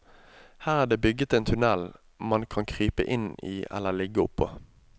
Her er det bygget en tunnel man kan krype inn i eller ligge oppå.